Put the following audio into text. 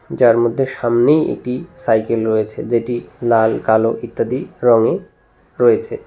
যার মধ্যে সামনেই একটি সাইকেল রয়েছে যেটি লাল কালো ইত্যাদি রঙে রয়েছে।